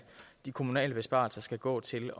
de kommunale besparelser skal gå til